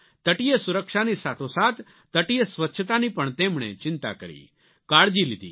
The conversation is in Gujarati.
તટીય સુરક્ષાની સાથોસાથ તટીય સ્વચ્છતાની પણ તેમણે ચિંતા કરી કાળજી લીધી